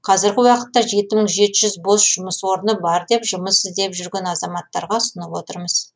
қазіргі уақытта жеті мың жеті жүз бос жұмыс орны бар деп жұмыс іздеп жүрген азаматтарға ұсынып отырмыз